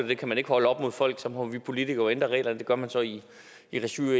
det kan man ikke holde op imod folk så må vi politikere jo ændre reglerne det gør man så i i regi af